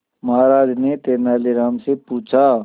महाराज ने तेनालीराम से पूछा